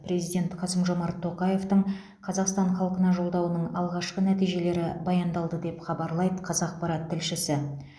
президент қасым жомарт тоқаевтың қазақстан халқына жолдауының алғашқы нәтижелері баяндалды деп хабарлайды қазақпарат тілшісі